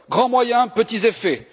Grands moyens, petits effets.